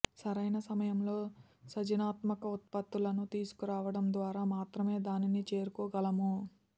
సరైన సమయంలో సజనాత్మక ఉత్పత్తులను తీసుకురావడం ద్వారా మాత్రమే దా నిని చేరుకోగలము